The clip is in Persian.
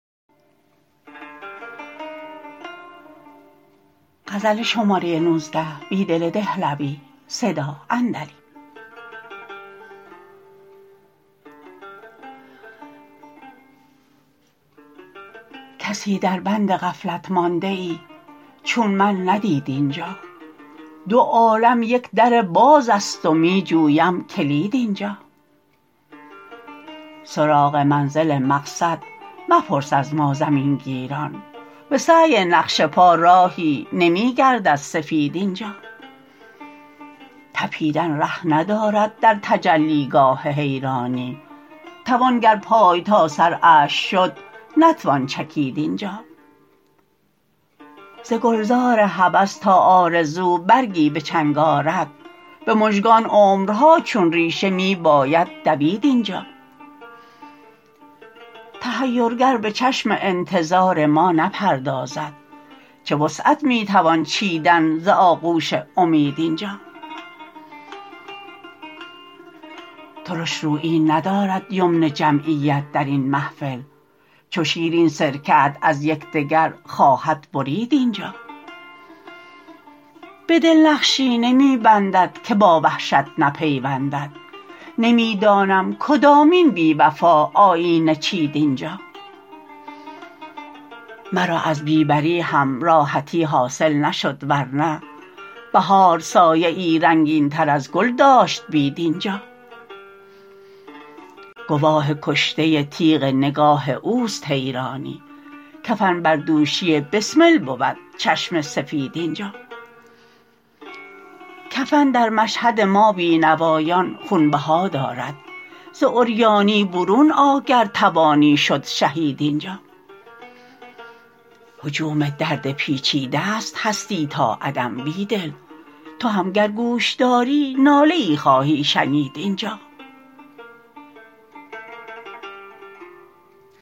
کسی در بندغفلت مانده ای چون من ندید اینجا دو عالم یک درباز است و می جویم کلید اینجا سرا غ منزل مقصد مپرس از ما زمینگیران به سعی نقش پا راهی نمی گردد سفید اینجا تپیدن ره ندارد در تجلیگاه حیرانی توان گر پای تا سر اشک شد نتوان چکید اینجا ز گلزار هوس تا آرزو برگی به چنگ آرد به مژگان عمرها چون ریشه می باید دوید اینجا تحیر گر به چشم انتظار ما نپردازد چه وسعت می توان چیدن ز آغوش امید اینجا ترشرویی ندارد یمن جمعیت در این محفل چو شیر این سرکه ات از یکدگر خواهد برید اینجا به دل نقشی نمی بندد که با وحشت نپیوندد نمی دانم کدامین بی وفا آیینه چید اینجا مرا از بی بری هم راحتی حاصل نشد ورنه بهار سایه ای رنگین تر از گل داشت بید اینجا گواه کشته تیغ نگاه اوست حیرانی کفن بردوشی بسمل بود چشم سفید اینجا کفن در مشهد ما بینوایان خونبها دارد ز عریانی برون آ گر توانی شد شهید اینجا هجوم درد پیچیده ست هستی تا عدم بیدل تو هم گر گوش داری ناله ای خواهی شنید اینجا